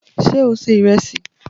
Sé o ṣe ìrẹsì?